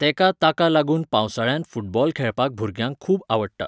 तेका ताका लागून पावसाळ्यांत फुटबॉल खेळपाक भुरग्यांक खूब आवडटा.